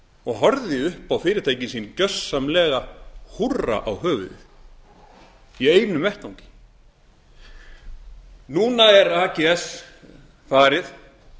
og horfði upp á fyrirtækin sín gjörsamlega húrra á höfuðið í einu vetfangi núna er ags farið